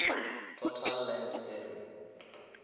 total land area